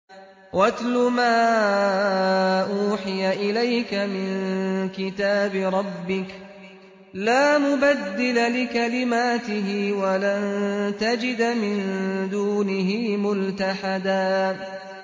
وَاتْلُ مَا أُوحِيَ إِلَيْكَ مِن كِتَابِ رَبِّكَ ۖ لَا مُبَدِّلَ لِكَلِمَاتِهِ وَلَن تَجِدَ مِن دُونِهِ مُلْتَحَدًا